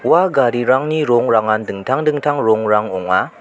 ua garirangni rongrangan dingtang dingtang rongrang ong·a.